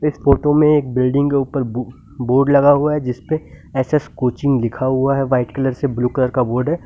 Photo में एक building के ऊपर बोर्ड लगा हुआ है जिस पर एस_एस कोचिंग लिखा हुआ है व्हाईट कलर से ब्लू कलर का बोर्ड है।